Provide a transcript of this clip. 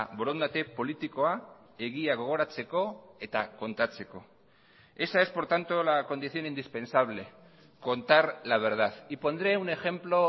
borondate politikoa egia gogoratzeko eta kontatzeko esa es por tanto la condición indispensable contar la verdad y pondré un ejemplo